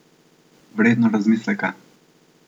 Vredno razmisleka!